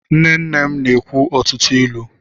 Nne nne na-ekwu ọtụtụ ilu.